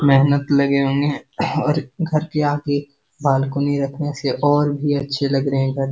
मेहनत लगे होंगे और घर के आगे बालकनी रखने से और भी अच्छे लग रहे है घर।